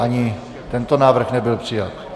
Ani tento návrh nebyl přijat.